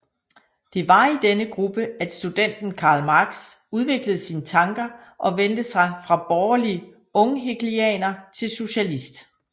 Det var i denne gruppe at studenten Karl Marx udviklede sine tanker og vendte sig fra borgerlig unghegelianer til socialist